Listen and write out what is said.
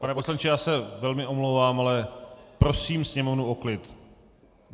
Pane poslanče, já se velmi omlouvám, ale prosím sněmovnu o klid.